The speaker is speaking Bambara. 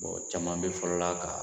caman bɛ fɔlɔ la ka